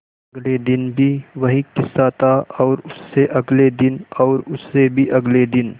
अगले दिन भी वही किस्सा था और उससे अगले दिन और उससे भी अगले दिन